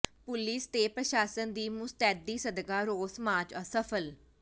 police ਤੇ ਪ੍ਰਸ਼ਾਸਨ ਦੀ ਮੁਸਤੈਦੀ ਸਦਕਾ ਰੋਸ ਮਾਰਚ ਅਸਫ਼ਲ